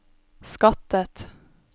skattet